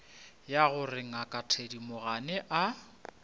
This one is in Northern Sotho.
ya gore ngaka thedimogane a